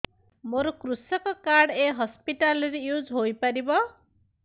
ମୋର କୃଷକ କାର୍ଡ ଏ ହସପିଟାଲ ରେ ୟୁଜ଼ ହୋଇପାରିବ